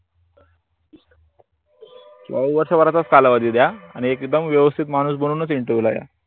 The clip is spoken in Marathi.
किवा वर्षं भाराच कालावधी द्या आणि एक दम वेव्स्तीत माणूस बनून च interview ला या